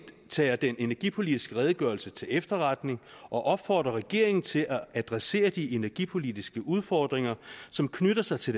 tager den energipolitiske redegørelse til efterretning og opfordrer regeringen til at adressere de energipolitiske udfordringer som knytter sig til